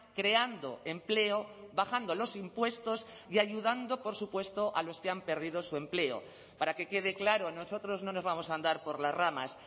creando empleo bajando los impuestos y ayudando por supuesto a los que han perdido su empleo para que quede claro nosotros no nos vamos a andar por las ramas